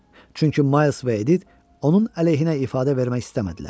Çünki Mayls və Edit onun əleyhinə ifadə vermək istəmədilər.